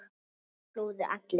Það flúðu allir.